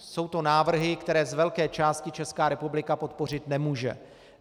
Jsou to návrhy, které z velké části Česká republika podpořit nemůže.